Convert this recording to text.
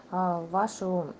аа вашу